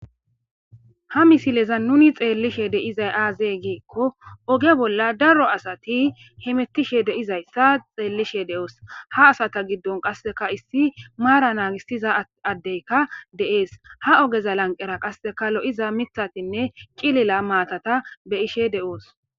ha misileza nuni xeellishe deizay aazee giekko oge bolla daro asati hemettishe deizayssa xeellishe de7oos ha asata giddon qasseka issi maara naagistiza addeyka de7ees ha ogeza lanqera qasseka lo7iza mithatinne cilila maatata be ishe de7oos